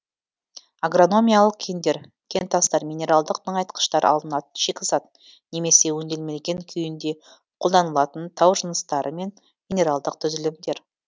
агрономиялық кендер кентастар минералдық тыңайтқыштар алынатын шикізат немесе өңделмеген күйінде қолданылатын тау жыныстары мен минералдық түзілімдер